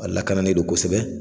A lakananen do kosɛbɛ.